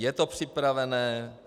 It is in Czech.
Je to připravené.